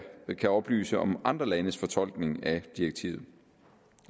kan oplyse om andre landes fortolkning af direktivet